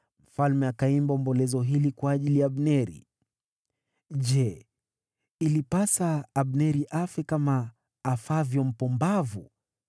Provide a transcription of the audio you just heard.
Mfalme akaimba ombolezo hili kwa ajili ya Abneri: “Je, ilipasa Abneri afe kama afavyo mpumbavu?